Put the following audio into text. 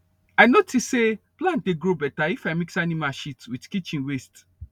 i notice say plant dey grow better if i mix animal shit with kitchen waste